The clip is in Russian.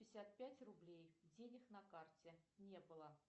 пятьдесят пять рублей денег на карте не было